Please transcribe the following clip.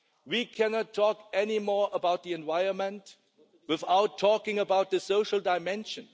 We cannot talk anymore about the environment without talking about the social dimension.